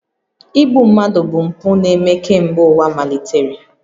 Igbu mmadụ bụ mpụ na-eme kemgbe ụwa malitere